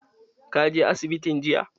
Ka je asibitin jiya?